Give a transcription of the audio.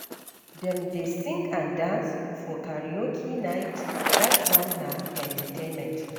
Dem dey sing and dance for karaoke night, dat one na entertainment.